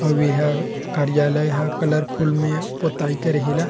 अव ह कार्यलय ह कलर फुल में पोथयी करे हे ला --